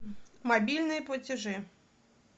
мобильные платежи